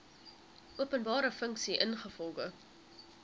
openbare funksie ingevolge